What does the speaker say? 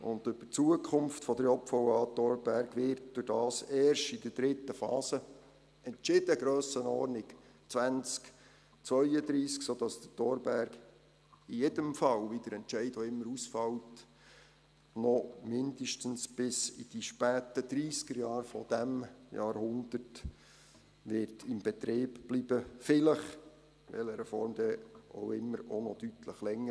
Über die Zukunft der JVA Thorberg wird dadurch erst in der dritten Phase entschieden, Grössenordnung 2032, sodass der Thorberg in jedem Fall, wie der Entscheid auch immer ausfällt, noch mindestens bis in die späten Dreissigerjahre dieses Jahrhunderts in Betrieb bleiben wird, vielleicht auch noch deutlich länger – in welcher Form dann auch immer.